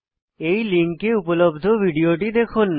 এই লিঙ্কে উপলব্ধ ভিডিওটি দেখুন